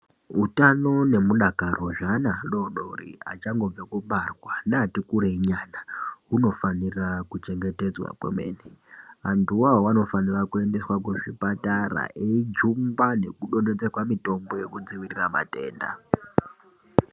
Hutano ne mudakaro zve ana adodori achangobve kubarwa ne ati kurei nyana unofanira ku chengetedzwa kwemene antu wo anofanira kuendeswa ku zvipatara eijungwa neku donhedzerwa mutombo yeku dzivirira matenda.